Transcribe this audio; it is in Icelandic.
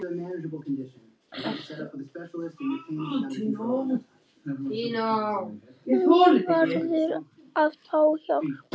Hún verður að fá hjálp.